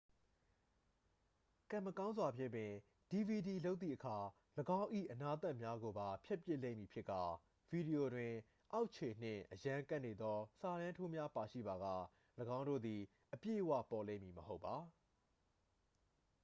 ကံမကောင်းစွာဖြင့်ပင် dvd လုပ်သည့်အခါ ၎င်း၏အနားသတ်များကိုပါ ဖြတ်ပစ်လိမ့်မည်ဖြစ်ကာ ဗီဒီယိုတွင် အောက်ခြေနှင့်အရမ်းကပ်နေသော စာတန်းထိုးများပါရှိပါက ၎င်းတို့သည် အပြည့်အဝပေါ်လိမ့်မည်မဟုတ်ပါ